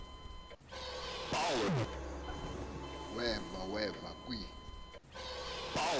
weva weva kwi